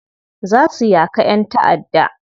Za su yaka yan ta'adda.